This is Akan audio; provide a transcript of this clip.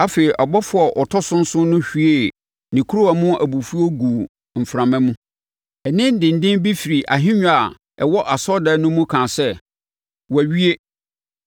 Afei, ɔbɔfoɔ a ɔtɔ so nson no hwiee ne kuruwa no mu abufuo guu mframa mu. Nne denden bi firi ahennwa a ɛwɔ asɔredan no mu no kaa sɛ, “Wɔawie.”